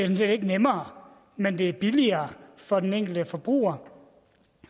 set ikke nemmere men det er billigere for den enkelte forbruger